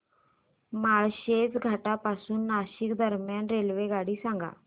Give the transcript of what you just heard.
माळशेज घाटा पासून नाशिक दरम्यान रेल्वेगाडी सांगा